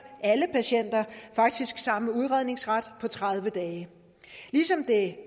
faktisk samme udredningsret på tredive dage ligesom det